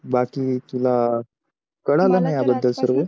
बाकी तुला कळालं ना या बदल सर्वे